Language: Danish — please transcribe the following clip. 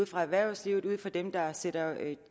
fra erhvervslivet fra dem der sætter